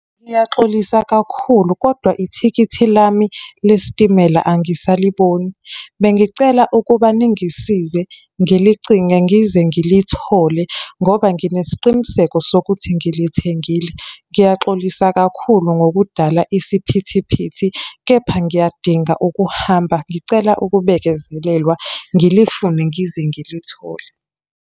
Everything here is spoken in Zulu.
Ngiyaxolisa kakhulu, kodwa ithikithi lami lesitimela angisaliboni. Bengicela ukuba ningisize, ngilicinge ngize ngilithole ngoba nginesiqiniseko sokuthi ngilithengile. Ngiyaxolisa kakhulu ngokudala isiphithiphithi, kepha ngiyadinga ukuhamba. Ngicela ukubekezelelwa, ngilifune ngize ngilithole.